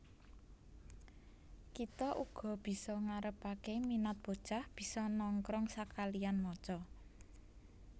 Kita uga bisa ngarepaké minat bocah bisa nongkrong sakaliyan maca